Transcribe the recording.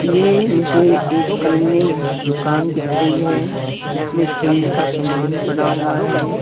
ये मुझे एक खेलने दुकान दिख रही है जिसमें खेल का सामान पड़ा हुआ है।